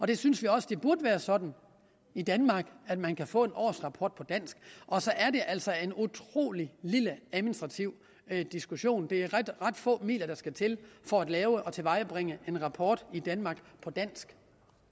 vi synes også det burde være sådan i danmark at man kan få en årsrapport på dansk og så er det altså en utrolig lille administrativ diskussion det er ret få midler der skal til for at lave og tilvejebringe en rapport i danmark på dansk